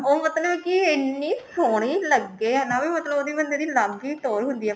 ਉਹ ਮਤਲਬ ਕਿ ਇੰਨੀ ਸੋਹਣੀ ਲੱਗੇ ਹੈਨਾ ਵੀ ਮਤਲਬ ਉਹ ਬੰਦੇ ਦੀ ਅੱਲਗ ਹੀ ਟੋਹਰ ਹੁੰਦੀ ਹੈ